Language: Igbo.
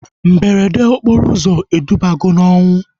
Mberede okporo ụzọ edubago na ọnwụ